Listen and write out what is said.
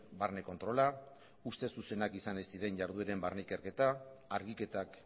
barne kontrola ustez zuzenak izan ez diren jardueren barne ikerketa argiketak